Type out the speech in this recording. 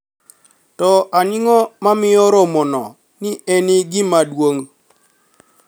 To anig'o momiyo romono ni e eni gima duonig'?